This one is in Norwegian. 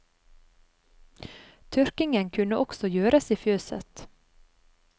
Tørkingen kunne også gjøres i fjøset.